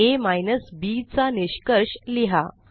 आ minus Bचा निष्कर्ष लिहा